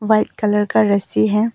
White colour का रस्सी है।